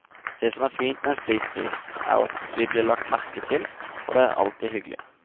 Det som er fint med en slik pris, er at vi blir lagt merke til, og det er alltid hyggelig.